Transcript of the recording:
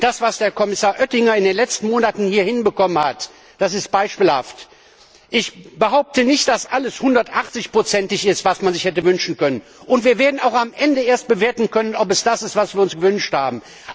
Und das, was Herr Kommissar Oettinger in den letzten Monaten hier erreicht hat, ist beispielhaft. Ich behaupte nicht, dass alles 180 ig ist, was man sich hätte wünschen können, und wir werden auch erst am Ende bewerten können, ob es das ist, was wir uns gewünscht haben.